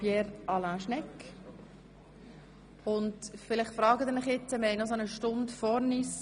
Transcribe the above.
Wir kommen zu den Traktanden der Gesundheits- und Fürsorgedirektion, und haben noch etwa eine Stunde vor uns.